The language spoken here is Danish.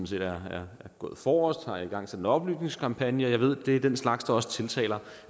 set er gået forrest og har igangsat en oplysningskampagne og jeg ved at det er den slags der også tiltaler